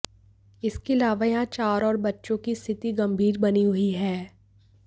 इसके अलावा यहां चार और बच्चों की स्थिति गंभीर बनी हुई है